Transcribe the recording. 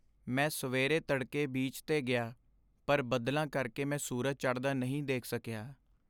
ਮੈਂ ਸਵੇਰੇ ਤੜਕੇ ਬੀਚ 'ਤੇ ਗਿਆ, ਪਰ ਬੱਦਲਾਂ ਕਰਕੇ ਮੈਂ ਸੂਰਜ ਚੜਦਾ ਨਹੀਂ ਦੇਖ ਸਕਿਆ।